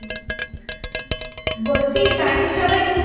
হ্যাঁ। বলছি বাড়ির সবাই ঠিক